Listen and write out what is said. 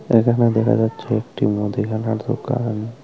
এখানে দেখা যাচ্ছে একটি মুদিখানা দোকান।